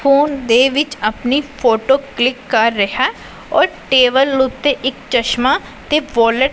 phone ਦੇ ਵਿੱਚ ਆਪਣੀ ਫੋਟੋ ਕਲਿੱਕ ਕਰ ਰਿਹੈ ਔਰ ਟੇਬਲ ਉਤੇ ਇੱਕ ਚਸ਼ਮਾ ਤੇ ਵੋਲਟ --